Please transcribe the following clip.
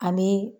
Ani